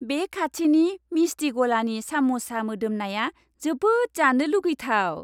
बे खाथिनि मिस्टि गलानि साम'सा मोदोमनाया जोबोद जानो लुगैथाव।